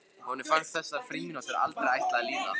Honum fannst þessar frímínútur aldrei ætla að líða.